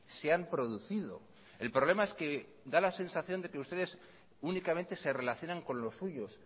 se han producido el problema es que da la sensación de que ustedes únicamente se relacionan con los suyos